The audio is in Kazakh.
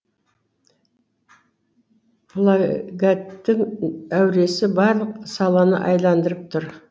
плагаттың әуресі барлық саланы айландырып тұр